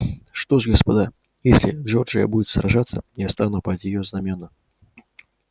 что ж господа если джорджия будет сражаться я встану под её знамёна